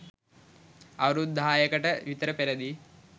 අවුරුදු දහයකට විතර පෙරදී